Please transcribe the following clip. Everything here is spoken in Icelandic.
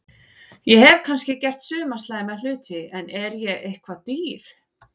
Ég hef kannski gert suma slæma hluti en er ég eitthvað dýr?